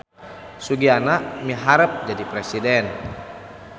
Sugiana miharep jadi presiden